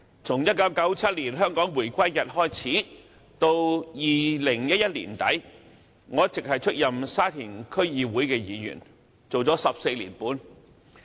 從1997年香港回歸開始至2011年年底，我一直出任沙田區議會議員，做了14年半。